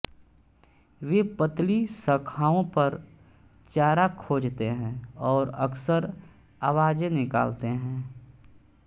वे पतली शाखाओं पर चारा खोजते हैं और अक्सर आवाजें निकालते हैं